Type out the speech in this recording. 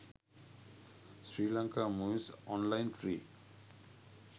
sri lanka movies online free